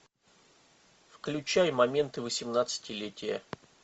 включай моменты восемнадцатилетия